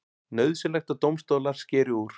Nauðsynlegt að dómstólar skeri úr